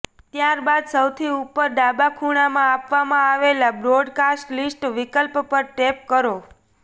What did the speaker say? ત્યારબાદ સૌથી ઉપર ડાબા ખૂણાંમાં આપવામાં આવેલા બ્રોડકાસ્ટ લિસ્ટ વિકલ્પ પર ટેપ કરો